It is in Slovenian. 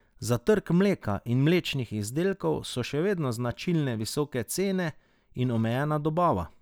Za trg mleka in mlečnih izdelkov so še vedno značilne visoke cene in omejena dobava.